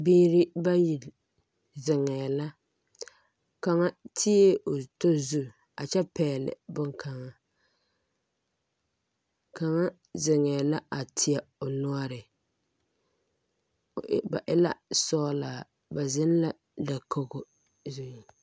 Biiri bayi zeŋɛɛ la kaŋa tie o tɔ zu kyɛ pɛgle boŋkaŋa kaŋa zeŋɛɛ la teɛ o noɔre ba e la sɔglaa ba zeŋ la dakogo zuŋ.